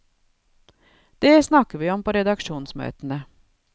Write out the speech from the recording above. Det snakker vi om på redaksjonsmøtene.